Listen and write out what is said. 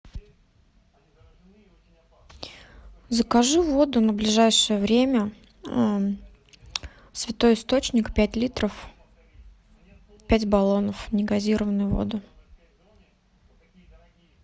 закажи воду на ближайшее время святой источник пять литров пять баллонов негазированную воду